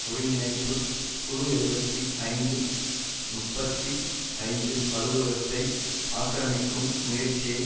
ஒருங்கிணைப்பு குழு எழுபத்தி ஐந்து முப்பத்தி ஐந்து அலுவலகத்தை ஆக்கிரமிக்கும் முயற்சியை